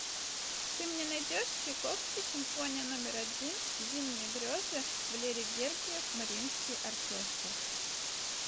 ты мне найдешь чайковский симфония номер один зимние грезы валерий гергиев мариинский оркестр